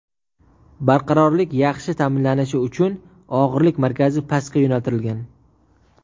Barqarorlik yaxshi ta’minlanishi uchun og‘irlik markazi pastga yo‘naltirilgan.